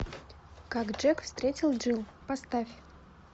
как джек встретил джилл поставь